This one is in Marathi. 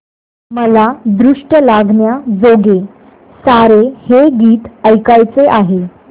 मला दृष्ट लागण्याजोगे सारे हे गीत ऐकायचे आहे